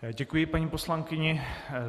Děkuji paní poslankyni.